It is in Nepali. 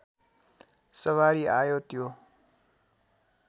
सवारी आयो त्यो